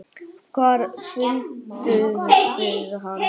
Hvar funduð þið hann?